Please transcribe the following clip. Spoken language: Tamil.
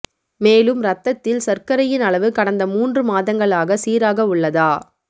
மேலும் ரத்தத்தில் சர்க்கரையின் அளவு கடந்த மூன்று மாதங்களாக சீராக உள்ளதா